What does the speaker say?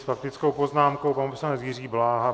S faktickou poznámkou pan poslanec Jiří Bláha.